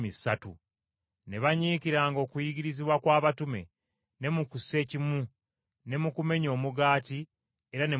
Ne banyiikiranga okuyigirizibwa kw’abatume ne mu kussekimu, ne mu kumenya omugaati era ne mu kusaba.